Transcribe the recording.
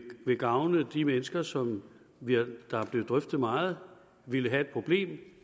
vil gavne de mennesker som der er blevet drøftet meget ville have et problem